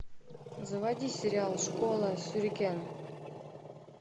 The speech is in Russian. заводи сериал школа сюрикен